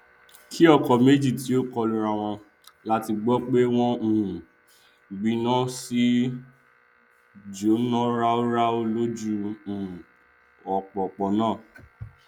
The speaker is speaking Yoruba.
kí ọkọ méjì má tíì kọlu arawọn làá ti gbọ pé wọn um gbiná wọn sì jóná ráúráú lójú um òpópónà